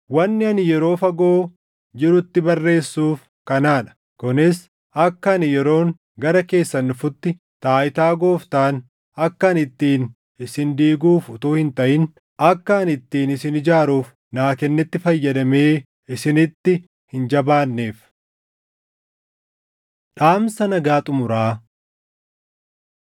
Wanni ani yeroo fagoo jirutti barreessuuf kanaa dha; kunis akka ani yeroon gara keessan dhufutti taayitaa Gooftaan akka ani ittiin isin diiguuf utuu hin taʼin, akka ani ittiin isin ijaaruuf naa kennetti fayyadamee isinitti hin jabaanneef. Dhaamsa Nagaa Xumuraa